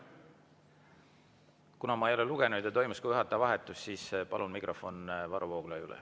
Kuna ma ei ole lugenud ja toimus ka juhataja vahetus, siis palun mikrofon Varro Vooglaiule.